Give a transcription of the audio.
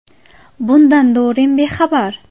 Bundan Du Rim bexabar.